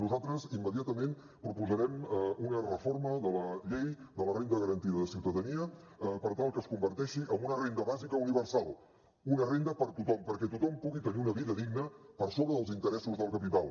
nosaltres immediatament proposarem una reforma de la llei de la renda garantida de ciutadania per tal que es converteixi en una renda bàsica universal una renda per a tothom perquè tothom pugui tenir una vida digna per sobre dels interessos del capital